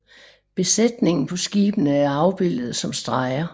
Besætningen på skibene er afbildet som streger